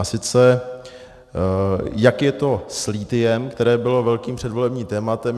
A sice, jak je to s lithiem, které bylo velkým předvolebním tématem?